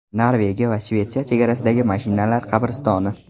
Norvegiya va Shvetsiya chegarasidagi mashinalar qabristoni.